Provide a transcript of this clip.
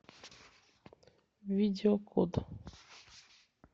видео код